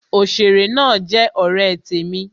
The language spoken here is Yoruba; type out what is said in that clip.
Òsèré náà jẹ ọ̀rẹ́ temi